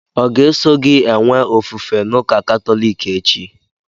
Ọ ga-eso gị enwe ofufe n'ụka katọliki echi?